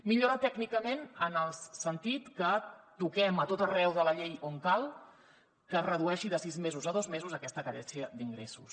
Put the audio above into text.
millora tècnicament en el sentit que toquem a tot arreu de la llei on cal que es redueixi de sis mesos a dos mesos aquesta carència d’ingressos